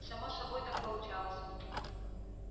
само собой так получалось